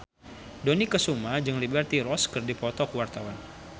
Dony Kesuma jeung Liberty Ross keur dipoto ku wartawan